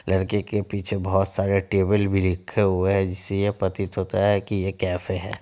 लड़के के पीछे बहुत सारे टेबल भी रखे हुए हैं जिससे यह प्रतीत होता है की यह कैफ़े है।